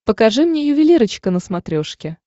покажи мне ювелирочка на смотрешке